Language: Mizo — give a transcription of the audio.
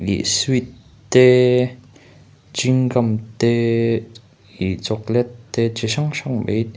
ih sweet te chewing gum te ih chocolate te chi hrang hrang ei--